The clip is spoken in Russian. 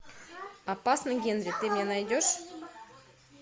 опасный генри ты мне найдешь